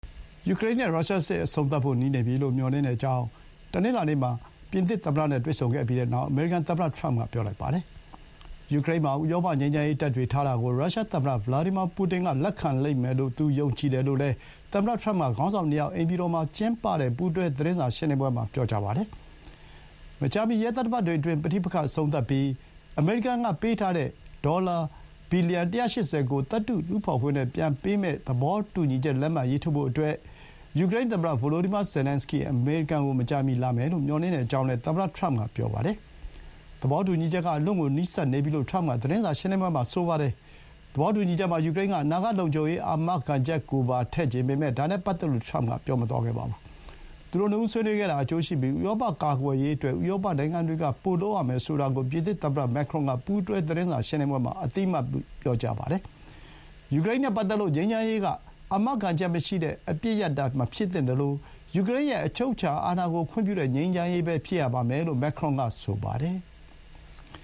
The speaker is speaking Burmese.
ယူကရိန်းက ရုရှားစစ် အဆုံးသတ်ဖို့ နီးနေပြီလို့ မျှော်လင့်ကြောင်း တနင်္လာနေ့မှာ ပြင်သစ်သမ္မတနဲ့ တွေ့ဆုံပြီးနောက် အမေရိကန်သမ္မတ ထရမ့်က ပြောလိုက်ပါတယ်။ ယူကရိန်းမှာ ဥရောပ ငြိမ်းချမ်းရေးတပ်တွေ ထားတာကို ရုရှားသမ္မတ ဗလာဒီမာ ပူတင်က လက်ခံလိမ့်မယ်လို့ သူ ယုံကြည်တယ်လို့လည်း သမ္မတထရမ့်က ခေါင်းဆောင်နှစ်ယောက် အိမ်ဖြူတော်မှာ ကျင်းပတဲ့ ပူးတွဲ သတင်းစာရှင်းလင်းပွဲမှာ ပြောပါတယ်။ မကြာမီ ရက်သတ္တပတ်တွေအတွင်း ပဋိပက္ခ အဆုံးသတ်ပြီး အမေရိကန်ကပေးထားတဲ့ ဒေါ်လာ ဘီလီယံ ၁၈၀ ကို သတ္တုတူးဖော်ခွင့်နဲ့ ပြန်ပေးမယ့် သဘောတူညီချက်ကို လက်မှတ်ထိုးဖို့ မကြာမီ ယူကရိန်းသမ္မတ ဗိုလိုဒီမာ ဇယ်လန်စကီး အမေရိကန်ကို လာမယ်လို့ မျှော်လင့်ကြောင်းလည်း သမ္မတ ထရမ့်က ပြောပါတယ်။ သဘောတူညီချက်က အလွန့်ကို နီးစပ်နေပြီလို့ ထရမ့်က သတင်းစာရှင်းလင်းပွဲမှာ ပြောတာပါ။ သဘောတူညီချက်မှာ ယူကရိန်းက အနာဂတ်လုံခြုံရေး အာမခံချက်ကိုပါ ထည့်ချင်ပေမဲ့ ဒါနဲ့ပတ်သက်လို့ ထရမ့်က ပြောမသွားခဲ့ပါဘူး။ သူတို့ နှစ်ဦးဆွေးနွေးခဲ့တာ အကျိုးရှိပြီး ဥရောပ ကာကွယ်ရေးအတွက် ဥရောပနိုင်ငံတွေက ပိုလုပ်ရမယ်ဆိုတာကို ပြင်သစ်သမ္မတ မက်ခရွန်က ပူးတွဲ သတင်းစာရှင်းလင်းပွဲမှာ အသိအမှတ်ပြု ပြောကြားပါတယ်။ ယူကရိန်းနဲ့ပတ်သက်လို့ ငြိမ်းချမ်းရေးက အာမခံချက်မရှိတဲ့ အပစ်ရပ်တာ မဖြစ်သင့်သလို ယူကရိန်းရဲ့ အချုပ်အခြာအာဏာကို ခွင့်ပြုတဲ့ ငြိမ်းချမ်းရေး ဖြစ်ရပါမယ်လို့ မက်ခရွန်က ဆိုပါတယ်။